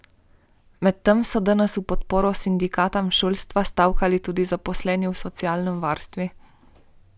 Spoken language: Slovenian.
Medtem so danes v podporo sindikatom šolstva stavkali tudi zaposleni v socialnem varstvu.